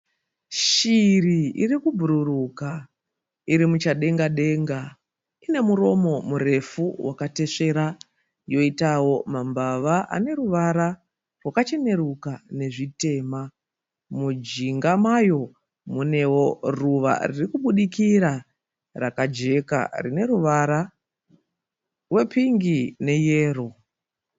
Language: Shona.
Shiri iri kubhururuka. Iri muchadengadenga. Ine muromo murefu wakatesvera yoitawo mambava ane ruvara rwakacheneruka nezvitema. Mujinga mayo munewo ruva riri kubudukira rakajeka rine ruvara rwepingi neyero.